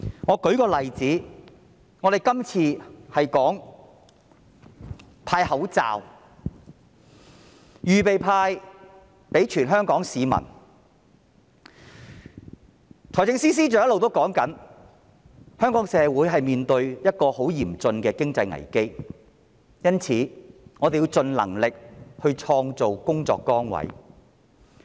我以這次向全香港市民派發口罩一事為例，財政司司長一直表示，香港社會面對一個很嚴峻的經濟危機，因此我們要盡力創造工作崗位。